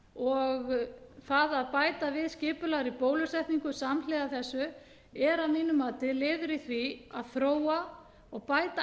og það að bæta við skipulagða bólusetningu samhliða þessu er að mínu mati liður í því að þróa og bæta